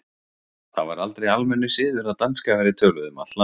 Það var aldrei almennur siður að danska væri töluð um allt land.